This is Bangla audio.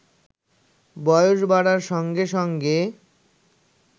বয়স বাড়ার সঙ্গে সঙ্গে